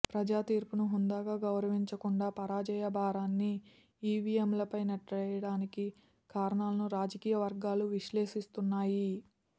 ప్రజాతీర్పును హుందాగా గౌరవించకుండా పరాజయ భారాన్ని ఈవీఎంలపై నెట్టేయడానికి కారణాలను రాజకీయ వర్గాలు విశ్లేషిస్తున్నాయి